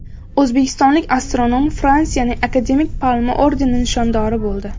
O‘zbekistonlik astronom Fransiyaning Akademik Palma ordeni nishondori bo‘ldi.